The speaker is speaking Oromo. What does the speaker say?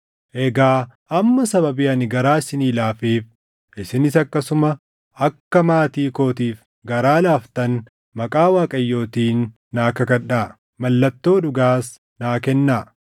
“Egaa amma sababii ani garaa isinii laafeef isinis akkasuma akka maatii kootiif garaa laaftan maqaa Waaqayyootiin naa kakadhaa. Mallattoo dhugaas naa kennaa;